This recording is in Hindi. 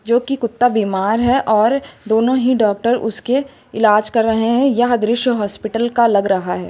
जो कि कुत्ता बीमार है और दोनों ही डॉक्टर उसके इलाज कर रहे हैं यह दृश्य हॉस्पिटल का लग रहा है।